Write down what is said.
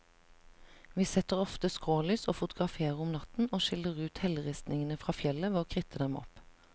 Vi setter ofte skrålys og fotograferer om natten, og skiller ut helleristningen fra fjellet ved å kritte dem opp.